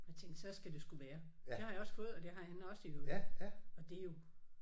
Og jeg tænkte så skal det sgu være. Det har jeg også fået og det har han også i øvrigt og det er jo